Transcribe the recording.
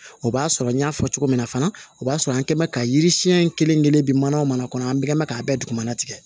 O b'a sɔrɔ n y'a fɔ cogo min na fana o b'a sɔrɔ an kɛ bɛ ka yiri siɲɛ in kelen kelen bɛ mana mana kɔnɔ an bɛɛ bɛ ka bɛɛ dugumana tigɛ